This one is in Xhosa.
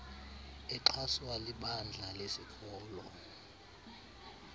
exhaswa libandla lesikolo